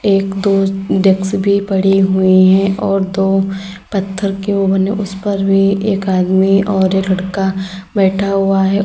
एक दो डेक्स भी पड़े हुए हैं और दो पत्थर के वो बने उस पर भी एक आदमी और एक लड़का बैठा हुआ है।